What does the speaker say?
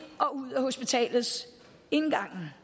og ud af hospitalets indgang